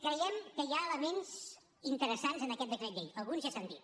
creiem que hi ha elements interessants en aquest decret llei alguns ja s’han dit